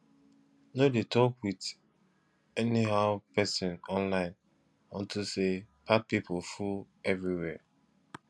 no dey talk with anyhow person online unto say bad people full everywhere